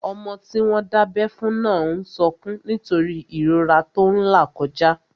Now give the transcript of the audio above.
Ọmọ tí wọ́n dábẹ́ fún náà n sọkún nítorí ìrora tó n là kọjá